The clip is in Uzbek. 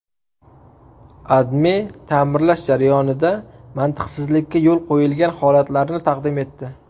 AdMe ta’mirlash jarayonida mantiqsizlikka yo‘l qo‘yilgan holatlarni taqdim etdi.